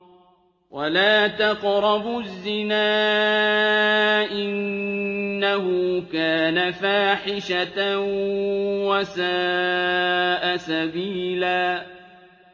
وَلَا تَقْرَبُوا الزِّنَا ۖ إِنَّهُ كَانَ فَاحِشَةً وَسَاءَ سَبِيلًا